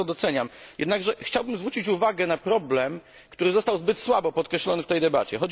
Bardzo to doceniam, jednakże chciałbym zwrócić uwagę na problem, który został zbyt słabo podkreślony w tej debacie.